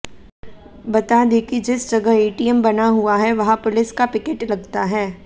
बता दें कि जिस जगह एटीएम बना हुआ है वहां पुलिस का पिकेट लगता है